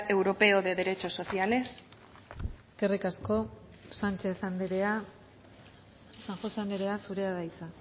europeo de derechos sociales eskerrik asko sánchez andrea san josé andrea zurea da hitza